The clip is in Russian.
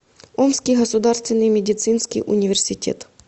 омский государственный медицинский университет